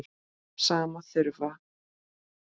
Sama þurfi bændur að gera.